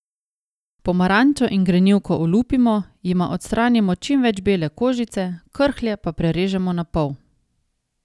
Pomarančo in grenivko olupimo, jima odstranimo čim več bele kožice, krhlje pa prerežemo na pol.